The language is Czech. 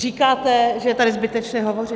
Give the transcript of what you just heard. Říkáte, že je tady zbytečné hovořit.